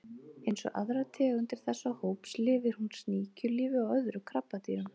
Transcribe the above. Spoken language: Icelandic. Eins og aðrar tegundir þessa hóps lifir hún sníkjulífi á öðrum krabbadýrum.